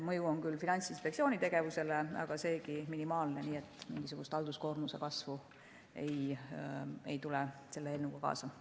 Mõju on küll Finantsinspektsiooni tegevusele, aga seegi minimaalne, nii et mingisugust halduskoormuse kasvu selle eelnõuga kaasa ei tule.